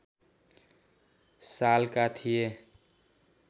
सालका थिए